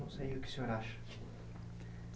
Não sei o que o senhor acha.